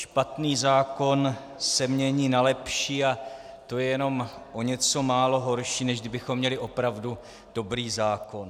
Špatný zákon se mění na lepší a to je jenom o něco málo horší, než kdybychom měli opravdu dobrý zákon.